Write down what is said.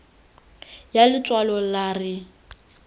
ya letshwalo la r e